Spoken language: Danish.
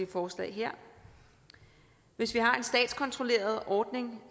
forslag hvis vi har en statskontrolleret ordning